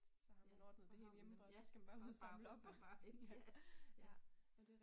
Ja, så har man bare så det bare så skal man bare hente